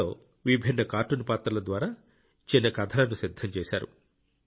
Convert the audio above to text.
ఇందులో విభిన్న కార్టూన్ పాత్రల ద్వారా చిన్న కథలను సిద్ధం చేశారు